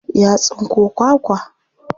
Ya tsinko kwakwa.